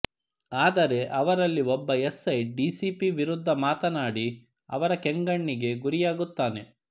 ಆದರೆ ಅವರಲ್ಲಿ ಒಬ್ಬ ಎಸ್ ಐ ಡಿಸಿಪಿ ವಿರುದ್ಧ ಮಾತನಾಡಿ ಅವರ ಕೆಂಗಣ್ಣಿಗೆ ಗುರಿಯಾಗುತ್ತಾನೆ